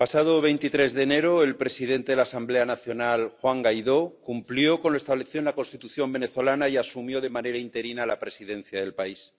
Señora presidenta, el pasado 23 de enero, el presidente de la Asamblea Nacional, Juan Guaidó, cumplió con lo establecido en la Constitución venezolana y asumió de manera interina la presidencia del país.